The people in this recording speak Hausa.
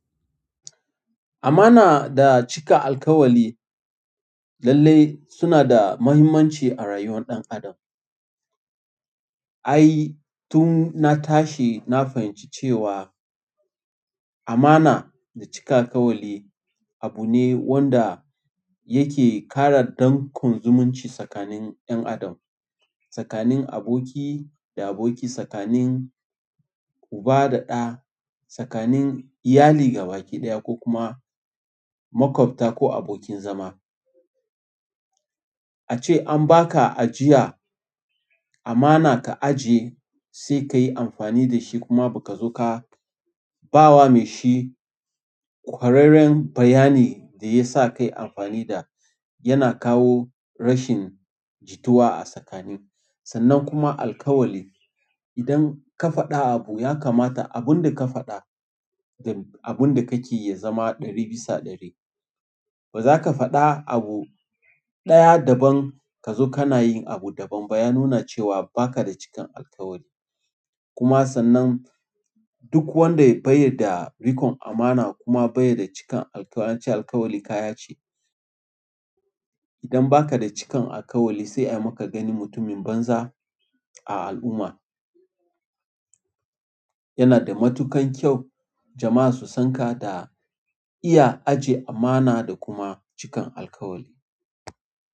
Amana da cika alkawali lalle suna da muhimmanci a rayuwar ɗan adam. Ai, tun na tashi na fahimci cewa amana da cika kawali abu ne wanda yake ƙara dankon zumunci tsakanin 'yan adam, tsakanin aboki da aboki, tsakanin uba da ɗa, tsakanin iyali gabaki ɗaya ko kuma makwabta ko abokin zama. A ce an ba ka ajiya amana ka ajiye sai ka yi amfani da shi kuma ba ka zo ka ba wa mai shi kwararren bayani da ya sa ka yi amfani da yana kawo rashin jituwa a tsakanin. Sannan kuma alkawali. Idan ka faɗa abu ya kamata abun da ka faɗa da abun da kake yi ya zama ɗari bisa ɗari. Ba za ka faɗa abu ɗaya daban ka zo kana yin abu daban ba. Ya nuna cewa ba ka da cikan alkawali. Kuma sannan duk wanda ya bayar da rikon amana kuma bai da cikan alkawali, an ce alkawali kaya ce. Idan ba ka da cikan alkawali sai ai ma ka gani mutumin banza a al'umma. Yana da matukan kyau jama'a su sanka da iya ajiye amana da kuma cikan alkawali.